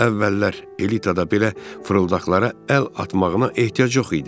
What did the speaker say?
Əvvəllər elitada belə fırıldaqlara əl atmağına ehtiyac yox idi.